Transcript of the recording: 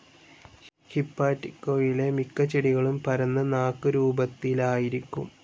ഹിപ്പാറ്റിക്കേയിലെ മിക്ക ചെടികളും പരന്ന് നാക്കുരൂപത്തിലായിരിക്കും.